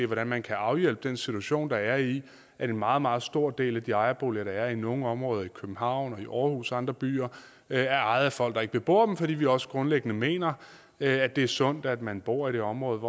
hvordan man kan afhjælpe den situation der er i at en meget meget stor del af de ejerboliger der er i nogle områder i københavn aarhus og andre byer er ejet af folk der ikke bebor dem fordi vi også grundlæggende mener at det er sundt at man bor i det område